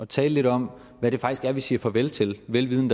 tale lidt om hvad det faktisk er vi siger farvel til vel vidende